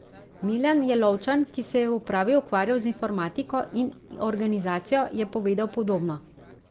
Milan Jelovčan, ki se je v upravi ukvarjal z informatiko in organizacijo, je povedal podobno.